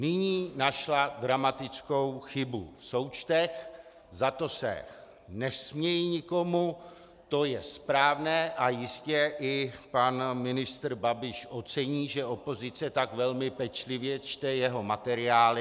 Nyní našla dramatickou chybu v součtech, za to se nesměji nikomu, to je správné a jistě i pan ministr Babiš ocení, že opozice tak velmi pečlivě čte jeho materiály.